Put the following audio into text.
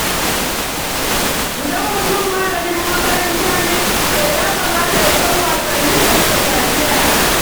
Idan mutum malamin makaranta ne, to ya kamata ya san wasannin da suka shafi yara.